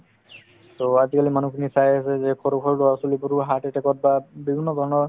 to আজিকালি মানুহখিনি প্ৰায়ে ভাবে যে সৰু সৰু ল'ৰা-ছোৱালিবোৰো heart attack ত বা বিভিন্ন বেমাৰত